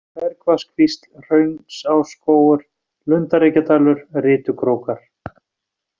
Bergvatnskvísl, Hraunsásskógur, Lundarreykjadalur, Rytukrókar